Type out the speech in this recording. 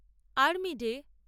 army day